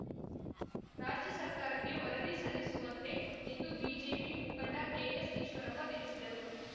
ರಾಜ್ಯ ಸರ್ಕಾರಕ್ಕೆ ವರದಿ ಸಲ್ಲಿಸುವಂತೆ ಎಂದು ಬಿಜೆಪಿ ಮುಖಂಡ ಕೆಎಸ್‌ ಈಶ್ವರಪ್ಪ ತಿಳಿಸಿದರು